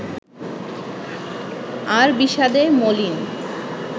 আর বিষাদে মলিন